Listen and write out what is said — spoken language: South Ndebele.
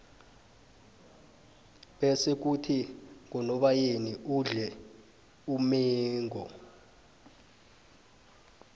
bese khuthi ngonobayeni udle umengo